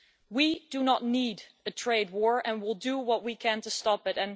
We do not need a trade war and will do what we can to stop